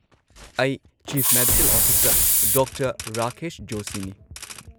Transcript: ꯑꯩ chief medical officer doctor Rakesh ꯖꯣꯁꯤꯅꯤ꯫